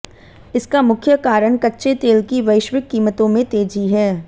इसका मुख्य कारण कच्चे तेल की वैश्विक कीमतों में तेजी है